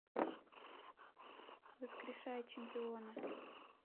воскрешая чемпиона